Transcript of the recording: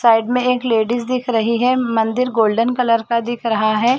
Side में एक ladies दिख रही है मंदिर गोल्डन कलर का दिख रहा है।